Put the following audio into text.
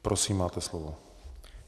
Prosím, máte slovo.